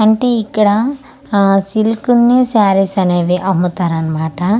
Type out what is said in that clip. అంటే ఇక్కడ ఆ సిల్క్ ని సారీస్ అనేవి అమ్ముతరన్మాట.